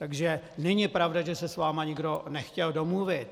Takže není pravda, že se s vámi nikdo nechtěl domluvit.